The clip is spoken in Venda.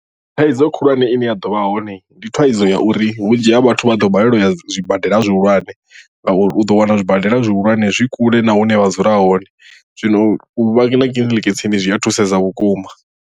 Thaidzo khulwane ine ya ḓo vha hone ndi thaidzo ya uri vhunzhi ha vhathu vha ḓo balelwa u ya zwibadela zwihulwane ngauri u ḓo wana zwibadela zwihulwane zwi kule na hune vha dzula hone zwino u vha na kiḽiniki tsini zwi a thusedza vhukuma.